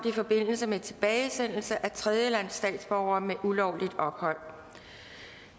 i forbindelse med tilbagesendelse af tredjelandsstatsborgere med ulovligt ophold